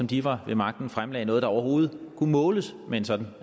de var ved magten fremlagde noget der overhovedet kunne måles med en sådan